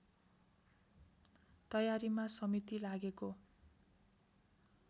तयारीमा समिति लागेको